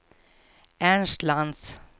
Ernst Lantz